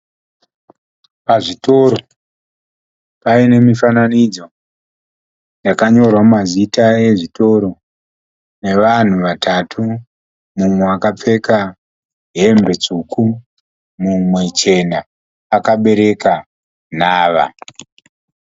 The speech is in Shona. Pazvitoro, paine mifananidzo yakanyorwa mazita ezvitoro. Nevanhu vatatu, mumwe akapfeka hembe tsvuku, mumwe chena , akabereka nhava.